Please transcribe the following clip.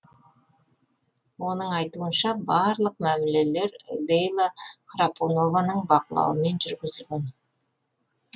оның айтуынша барлық мәмілелер лейла храпунованың бақылауымен жүргізілген